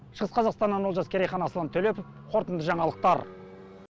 шығыс қазақстаннан олжас керейхан аслан төлепов қорытынды жаңалықтар